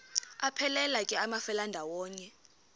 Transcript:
aphelela ke amafelandawonye